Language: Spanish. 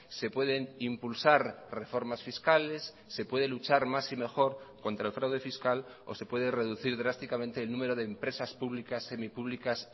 se pueden impulsar reformas fiscales se puede luchar más y mejor contra el fraude fiscal o se puede reducir drásticamente el número de empresas públicas semipublicas